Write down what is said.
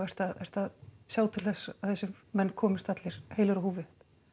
ert að sjá til þess að þessir menn komist allir heilir á húfi